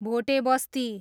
Bhotebasti